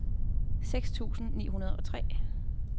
seks tusind ni hundrede og tre